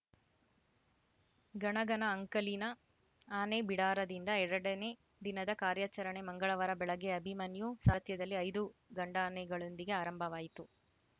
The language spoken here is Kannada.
ಗಣಗನ ಅಂಕಲಿನ ಆನೆ ಬಿಡಾರದಿಂದ ಎರಡನೇ ದಿನದ ಕಾರ್ಯಾಚರಣೆ ಮಂಗಳವಾರ ಬೆಳಗ್ಗೆ ಅಭಿಮನ್ಯು ಸಾರಥ್ಯದಲ್ಲಿ ಐದು ಗಂಡಾನೆಗಳೊಂದಿಗೆ ಆರಂಭವಾಯಿತು